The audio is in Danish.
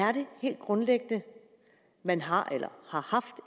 er det helt grundlæggende man har eller har haft